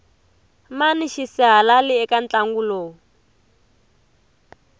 mani xisihalali eka ntlangu lowu